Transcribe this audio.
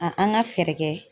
A an ka fɛɛrɛ kɛ